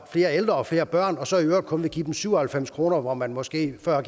flere ældre og flere børn så i øvrigt kun vil give dem syv og halvfems kr hvor man måske før har